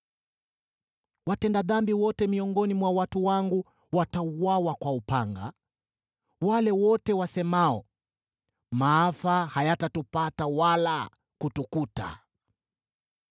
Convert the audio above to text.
Watenda dhambi wote miongoni mwa watu wangu watauawa kwa upanga, wale wote wasemao, ‘Maafa hayatatupata wala kutukuta.’